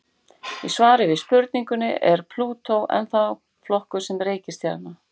Í svari við spurningunni Er Plútó ennþá flokkuð sem reikistjarna?